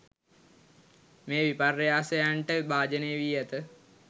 මේ විපර්යාසයන්ට භාජනය වී ඇත.